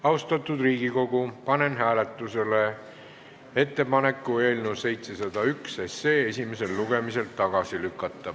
Austatud Riigikogu, panen hääletusele ettepaneku eelnõu 701 esimesel lugemisel tagasi lükata.